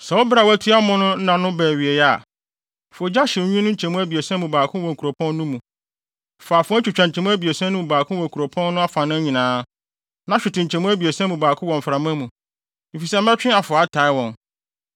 Sɛ wo bere a wɔatua mo ano nna no ba awiei a, fa ogya hyew nwi no nkyɛmu abiɛsa mu baako wɔ kuropɔn no mu. Fa afoa twitwa nkyɛmu abiɛsa no mu baako wɔ kuropɔn no afanan nyinaa. Na hwete nkyɛmu abiɛsa mu baako wɔ mframa mu, efisɛ mɛtwe afoa ataa wɔn.